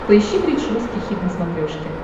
поищи бридж русский хит на смотрешке